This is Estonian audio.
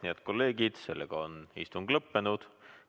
Head kolleegid, sellega on istung lõppenud.